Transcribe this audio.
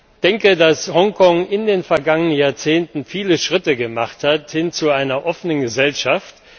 Ich denke, dass Hong Kong in den vergangenen Jahrzehnten viele Schritte gemacht hat, hin, zu einer offenen Gesellschaft.